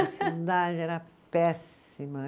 A cidade era péssima.